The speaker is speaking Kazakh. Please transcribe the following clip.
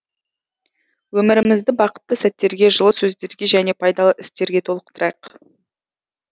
өмірімізді бақытты сәттерге жылы сөздерге және пайдалы істерге толықтырайық